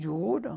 Juro.